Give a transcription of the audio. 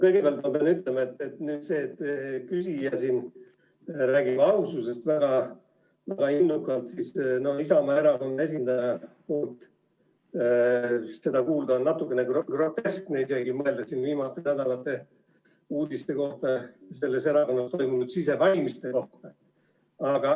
Kõigepealt ma pean ütlema, et kui küsija räägib väga innukalt aususest, siis Isamaa erakonna esindajalt seda kuulda on natukene isegi groteskne, mõeldes viimaste nädalate uudistele selles erakonnas toimunud sisevalimiste kohta.